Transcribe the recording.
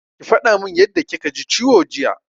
Ki faɗa min yadda kika ji ciwo jiya!